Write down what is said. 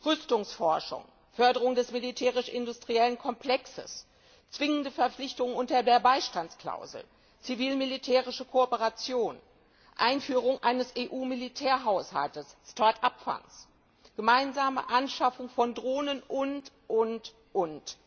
Rüstungsforschung, Förderung des militärisch industriellen Komplexes, zwingende Verpflichtungen unter der Beistandsklausel, zivil militärische Kooperation, Einführung eines EU Militärhaushalts, Start up Fonds, gemeinsame Anschaffung von Drohnen und, und, und